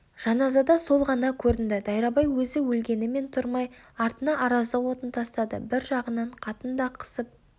жаназада сол ғана көрінеді дайрабай өзі өлгенімен тұрмай артына араздық отын тастады бір жағынан қатында қысып